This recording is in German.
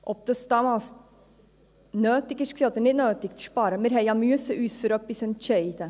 Ob es damals nötig war zu sparen oder nicht – wir mussten uns für etwas entscheiden.